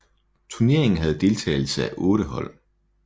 Turneringen havde deltagelse af 8 hold